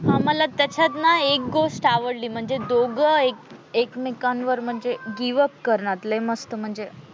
हा मला त्याच्यात ना एक गोष्ट आवडली म्हणजे दोघे एकमेकांवर गिव्ह अप करणात लय मस्त म्हणजे,